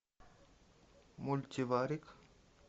мультиварик